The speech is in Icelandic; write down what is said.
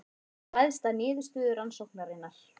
Ræðst af niðurstöðu rannsóknarinnar